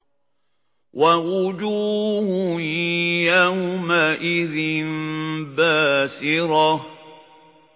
وَوُجُوهٌ يَوْمَئِذٍ بَاسِرَةٌ